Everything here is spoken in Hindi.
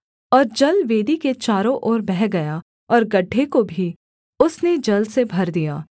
और जल वेदी के चारों ओर बह गया और गड्ढे को भी उसने जल से भर दिया